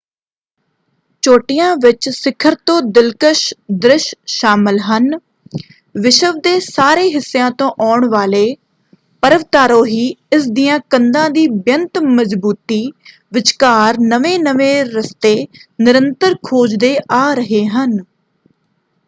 ਚੋਟੀਆਂ ਵਿੱਚ ਸਿਖਰ ਤੋਂ ਦਿਲਕਸ਼ ਦ੍ਰਿਸ਼ ਸ਼ਾਮਲ ਹਨ। ਵਿਸ਼ਵ ਦੇ ਸਾਰੇ ਹਿੱਸਿਆਂ ਤੋਂ ਆਉਣ ਵਾਲੇ ਪਰਵਤਾਰੋਹੀ ਇਸ ਦੀਆਂ ਕੰਧਾਂ ਦੀ ਬੇਅੰਤ ਮਜ਼ਬੂਤੀ ਵਿਚਕਾਰ ਨਵੇਂ-ਨਵੇਂ ਰਸਤੇ ਨਿਰੰਤਰ ਖੋਜਦੇ ਆ ਰਹੇ ਹਨ।